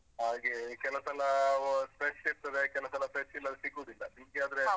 ಹಾಗೇ ಕೆಲಸಲ ಆ fresh ಇರ್ತದೆ ಕೆಲಸಲಾ fresh ಎಲ್ಲ ಸಿಗುದಿಲ್ಲ ನಿಮ್ಗೆ ಆದ್ರೆ.